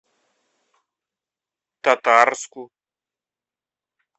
татарску